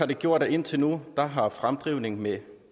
gjort at indtil nu har fremdrift med med